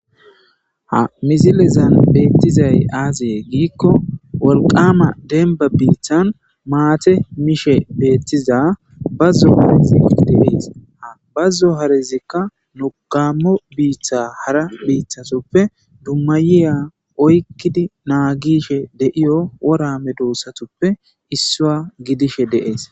Ha mizilezan beettizay aazyeye giikko wolqama denba biithan maate mishe beettiza bazzo harizi qdibita bazzo harezikka nokammo biiththa hara biithatuppe dummayiya oykkidi naa gishe deiyo worame duussatuppe issua gidishe deees.